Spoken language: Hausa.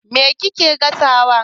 Me kike gasawa?